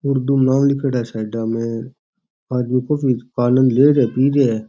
और उर्दू में नाम लिखेड़ा है सायड़ा में आदमी कुछ भी आनद ले रहे है पि रहा --